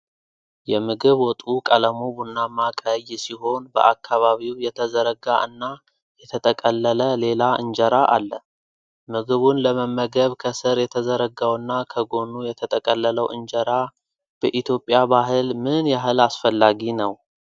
የምግብ ወጡ ቀለሙ ቡናማ ቀይ ሲሆን በአካባቢው የተዘረጋ እና የተጠቀለለ ሌላ እንጀራአለ። ምግቡን ለመመገብ ከስር የተዘረጋውና ከጎኑ የተጠቀለለው እንጀራ በኢትዮጵያ ባህል ምን ያህል አስፈላጊ ነው?